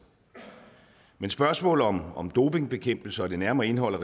men spørgsmål om om dopingbekæmpelse og det nærmere indhold af